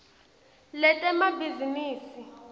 letemabhizinisi